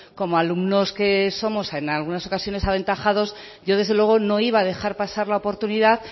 como alumnos que somos en algunas ocasiones aventajados yo desde luego no iba a dejar pasar la oportunidad